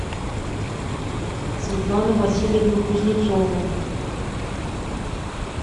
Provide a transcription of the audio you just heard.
светлану васильевну кузнецову